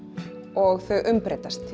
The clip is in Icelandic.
og umbreytast